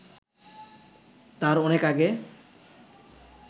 তার অনেক আগে